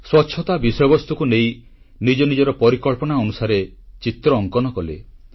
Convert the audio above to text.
ସ୍ୱଚ୍ଛତା ବିଷୟବସ୍ତୁକୁ ନେଇ ନିଜ ନିଜର ପରିକଳ୍ପନା ଅନୁସାରେ ଚିତ୍ର ଅଙ୍କନ କଲେ